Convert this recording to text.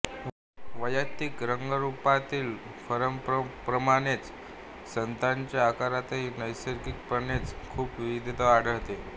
वैय्यक्तिक रंगरूपातील फरकांप्रमाणेच स्तनांच्या आकारातही नैसर्गिकपणेच खूप विविधता आढळते